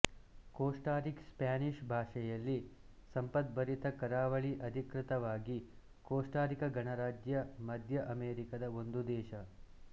Costa Rica Spanish ಭಾಷೆಯಲ್ಲಿ ಸಂಪದ್ಭರಿತ ಕರಾವಳಿ ಅಧಿಕೃತವಾಗಿ ಕೋಸ್ಟಾ ರಿಕ ಗಣರಾಜ್ಯ ಮಧ್ಯ ಅಮೇರಿಕದ ಒಂದು ದೇಶ